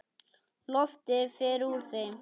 Loftið fer úr þeim.